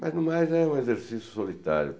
Mas, no mais, é um exercício solitário.